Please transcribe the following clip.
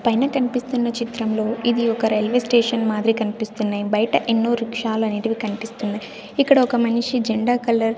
పైన కనిపిస్తున్న చిత్రంలో ఇది ఒక రైల్వే స్టేషన్ మాదిరి కనిపిస్తున్నాయి బయట ఎన్నో రిక్షా లు అనేటివి కనిపిస్తున్నాయి ఇక్కడ ఒక మనిషి జెండా కలర్ --